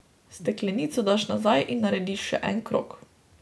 Steklenico daš nazaj in narediš še en krog.